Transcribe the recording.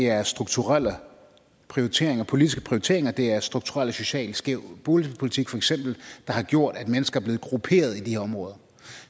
er strukturelle prioriteringer politiske prioriteringer det er strukturel og social skæv boligpolitik feks der har gjort at mennesker er blevet grupperet i de områder